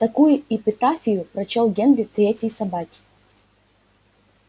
такую эпитафию прочёл генри третьей собаке